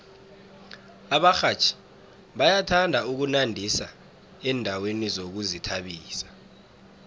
abarhatjhi bayathanda ukunandisa endaweni zokuzithabisa